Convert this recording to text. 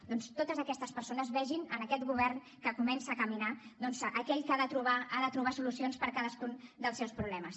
doncs que totes aquestes persones vegin en aquest govern que comença a caminar aquell que ha de trobar solucions per cadascun dels seus problemes